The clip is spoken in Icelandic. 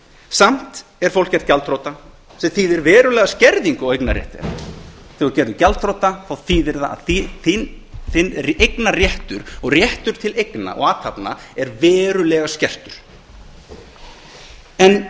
samt er fólk gert gjaldþrota sem þýðir verulega skerðingu á eignarrétti þess þegar þú ert gerður gjaldþrota þá þýðir það að eign eignarréttur og réttur til eigna og athafna er verulega skertur og